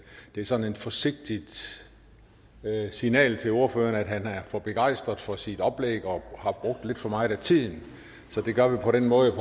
det er sådan et forsigtigt signal til ordføreren om at han er for begejstret for sit oplæg og har brugt lidt for meget af tiden så det gør vi på den måde